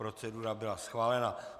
Procedura byla schválena.